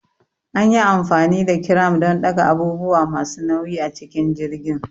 An yi amfani da kiram don ɗaga abubuwa masu nauyi a cikin jirgin.